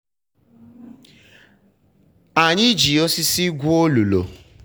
anyị ji osisi gwuo olulu.